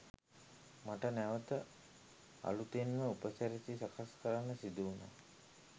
මට නැවත අලුතෙන්ම උපසිරැසිය සකස් කරන්න සිදු වුනා